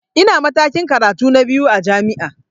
Ina matakin karatu na biyu a jami'a